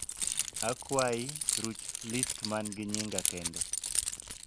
akwai, ruch list man gi nying kend